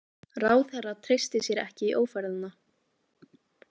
Ráðherra treysti sér ekki í ófærðina